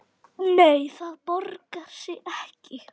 Nei, það borgar sig ekki.